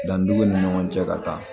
Danni dugun ni ɲɔgɔn cɛ ka taa